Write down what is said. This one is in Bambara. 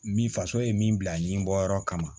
Min faso ye min bila ɲɛbɔ yɔrɔ kama